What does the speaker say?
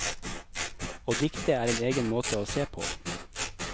Å dikte er en egen måte å se på.